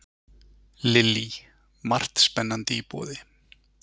Lillý: Margt spennandi í boði?